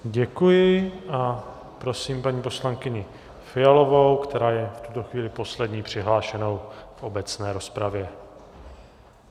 Děkuji a prosím paní poslankyni Fialovou, která je v tuto chvíli poslední přihlášenou v obecné rozpravě.